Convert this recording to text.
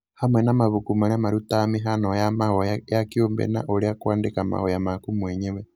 hamwe na mabuku marĩa marutaga mĩhano ya mahoya ya kĩũmbe na ũrĩa kũandĩka mahoya maku mwenyewe.